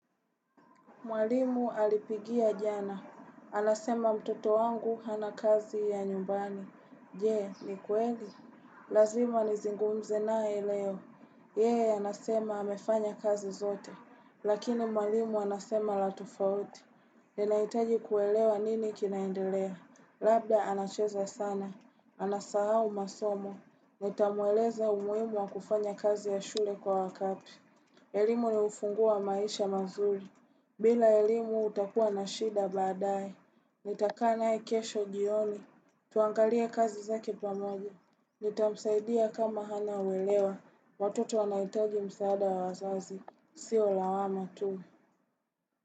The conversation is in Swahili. Mwalimu alipigia jana. Anasema mtoto wangu hana kazi ya nyumbani. Je, ni kweli? Lazima nizingumze naye leo. Yeye, anasema amefanya kazi zote. Lakini mwalimu anasema la tofauti. Ninahitaji kuelewa nini kinaendelea. Labda anacheza sana. Anasahau masomo. Nitamueleza umuhimu wa kufanya kazi ya shule kwa wakati. Elimu ni ufunguo wa maisha mazuri. Bila elimu utakua na shida baadaye. Nitakaa naye kesho jioni. Tuangalie kazi zake pamoja. Nitamsaidia kama hana uelewa. Watoto wanahitaji msaada wa wazazi. Sio lawama tu.